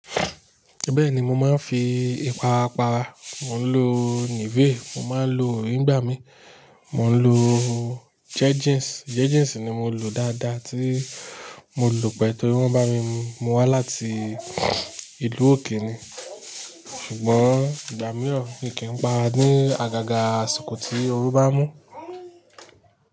Bẹ́ẹ̀ni mo máa ń fi ipara para, mò ń lo Nivea, mò ń máa ń lo orí ngbàmí, mò ń lo Jejeans, Jejeans ni mo ń lò dáadáa tí mo lò pẹ́ torí wọ́n bá mi mú wá láti ìlú òkè ni. Ṣùgbọ́n ìgbà mìíràn mi kì í pa ara ni àgàgà àsìkò tí oru bá mú.